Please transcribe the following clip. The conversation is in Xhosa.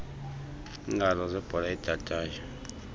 iingalo zebhola edadayo